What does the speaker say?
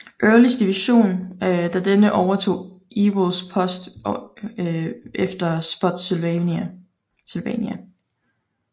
Earlys division da denne overtog Ewells post efter Spotsylvania